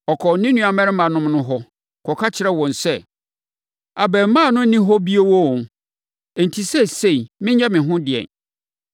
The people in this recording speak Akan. Ɔkɔɔ ne nuammarimanom no hɔ, kɔka kyerɛɛ wɔn sɛ, “Abarimaa no nni hɔ oo! Enti, seesei menyɛ me ho dɛn ni!”